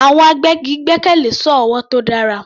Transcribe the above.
Àwọn agbẹ́gi gbẹ́kẹ̀lé sọ́ọ̀ ọwọ́ tó dára.